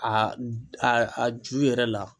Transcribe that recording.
A a ju yɛrɛ la.